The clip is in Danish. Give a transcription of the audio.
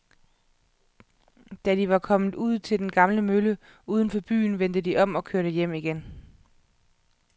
Da de var kommet ud til den gamle mølle uden for byen, vendte de om og kørte hjem igen.